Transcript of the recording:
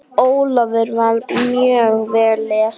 Ólafur var mjög vel lesinn.